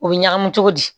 U bɛ ɲagami cogo di